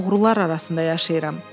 Mən oğrular arasında yaşayıram.